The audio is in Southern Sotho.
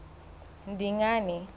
dingane